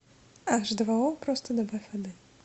аш два о просто добавь воды